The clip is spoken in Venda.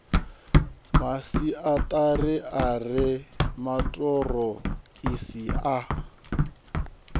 masiari a re maṱorokisi a